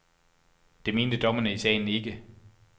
Det mente dommerne i sagen ikke.